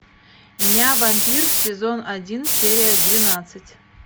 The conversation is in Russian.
ня вампир сезон один серия двенадцать